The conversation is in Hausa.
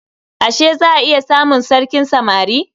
Ashe za a iya samun sarkin samari?